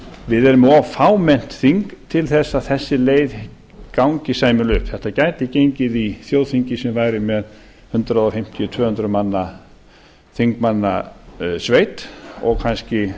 við erum með of fámennt þing til þess að þessi leið gangi sæmilega upp þetta gæti gengið í þjóðþingi sem væri með hundrað fimmtíu til tvö hundruð þingmanna sveit og kannski